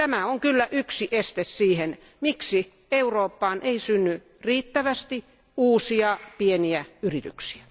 Tämä on yksi syy siihen, miksi Eurooppaan ei synny riittävästi uusia pieniä yrityksiä.